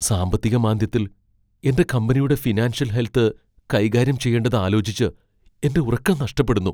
സാമ്പത്തിക മാന്ദ്യത്തിൽ എന്റെ കമ്പനിയുടെ ഫിനാൻഷ്യൽ ഹെൽത്ത് കൈകാര്യം ചെയ്യേണ്ടത് ആലോചിച്ച് എന്റെ ഉറക്കം നഷ്ടപ്പെടുന്നു.